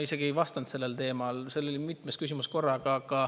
Ma isegi ei vastanud sellel teemal, see oli mitmes küsimuses korraga.